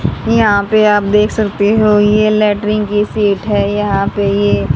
यहां पे आप देख सकते हो ये लैट्रिन की सीट है यहां पे ये--